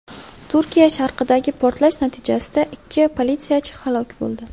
Turkiya sharqidagi portlash natijasida ikki politsiyachi halok bo‘ldi.